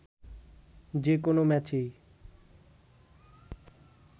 যে কোনো ম্যাচেই